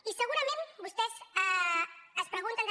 i segurament vostès es pregunten també